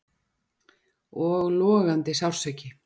Og logandi sársauki.